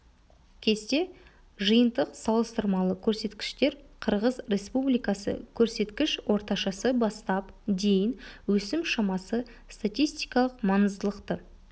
кесте жиынтық салыстырмалы көрсеткіштер қырғыз республикасы көрсеткіш орташасы бастап дейін өсім шамасы статистикалық маңыздылықты